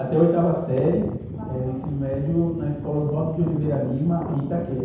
Até a oitava série....ual escola? Eh, do ensino médio na Escola Oswaldo de Oliveira Lima, em Itaquera.